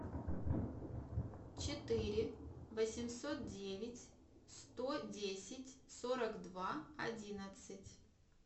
четыре восемьсот девять сто десять сорок два одиннадцать